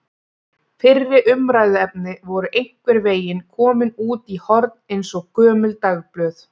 Fyrri umræðuefni voru einhvern veginn komin út í horn eins og gömul dagblöð.